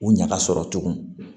U ɲaga sɔrɔ tugun